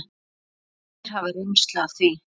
Ítalir hafa reynslu af því.